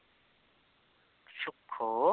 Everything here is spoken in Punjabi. ਸੁੱਖੋ